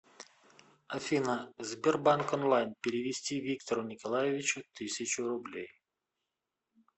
афина сбербанк онлайн перевести виктору николаевичу тысячу рублей